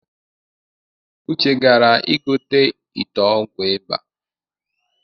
Uche gara igote ite ọgwụ ịba